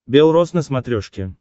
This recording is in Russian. бел рос на смотрешке